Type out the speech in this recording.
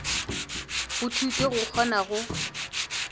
go thuto go kgona go